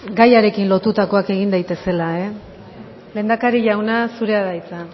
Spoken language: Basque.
gaiarekin lotutakoak egin daitezela lehendakari jauna zurea da hitza